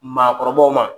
Maakɔrɔbaw ma